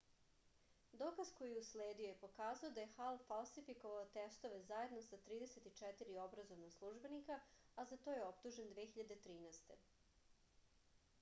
dokaz koji je usledio je pokazao da je hal falsifikovao testove zajedno sa 34 obrazovna službenika a za to je optužen 2013